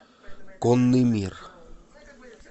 конный мир